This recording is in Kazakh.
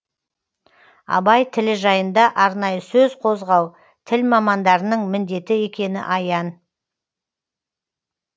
абай тілі жайында арнайы сөз қозғау тіл мамандарының міндеті екені аян